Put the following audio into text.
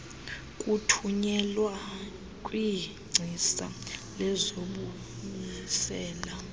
kuthunyelwa kwingcisa lezokubuyisela